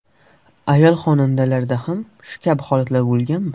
Ayol xonandalarda ham shu kabi holatlar bo‘lganmi?